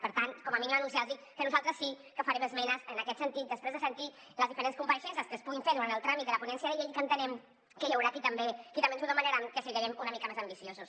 per tant com a mínim anunciar los que nosaltres sí que farem esmenes en aquest sentit després de sentir les diferents compareixences que es puguin fer durant el tràmit de la ponència de llei i que entenem que hi haurà qui també ens ho demanarà que siguem una mica més ambiciosos